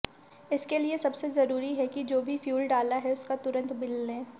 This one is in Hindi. इसके लिए सबसे जरूरी है कि जो भी फ्यूल डाला है उसका तुरंत बिल लें